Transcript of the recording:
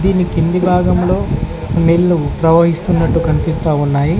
దీని కింది భాగంలో నీళ్లు ప్రవహిస్తున్నట్లు కనిపిస్తా ఉన్నాయి.